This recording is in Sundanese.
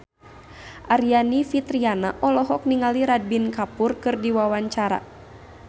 Aryani Fitriana olohok ningali Ranbir Kapoor keur diwawancara